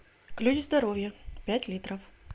ключ здоровья пять литров